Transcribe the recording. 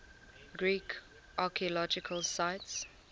greek archaeological sites